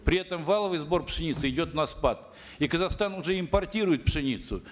при этом валовый сбор пшеницы идет на спад и казахстан уже импортирует пшеницу